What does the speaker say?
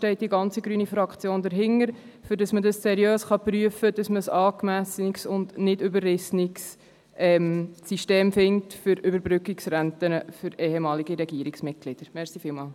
So stünde die ganze grüne Fraktion dahinter, damit man seriös prüfen und ein angemessenes, nicht überrissenes System für Überbrückungsrenten für ehemalige Regierungsmitglieder finden kann.